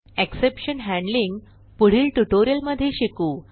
exception handling पुढील ट्युटोरियलमधे शिकू